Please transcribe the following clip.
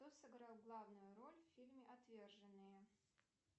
кто сыграл главную роль в фильме отверженные